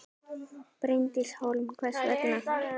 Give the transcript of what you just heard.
Bryndís Hólm: Hvers vegna?